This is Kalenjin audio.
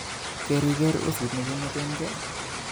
Keriker usit nekimwetenke?